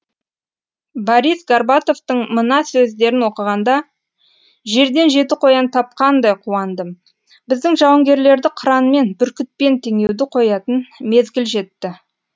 борис горбатовтың мына сөздерін оқығанда жерден жеті қоян тапқандай қуандым біздің жауынгерлерді қыранмен бүркітпен теңеуді қоятын мезгіл жетті